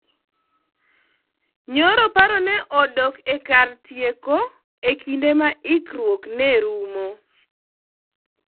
Nyoro paro ne odok ee kar tieko ee kinde mar ikruok nerumo